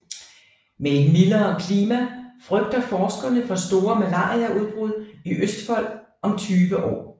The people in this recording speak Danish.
Med et mildere klima frygter forskerne for store malariaudbrud i Østfold om tyve år